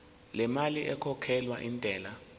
lemali ekhokhelwa intela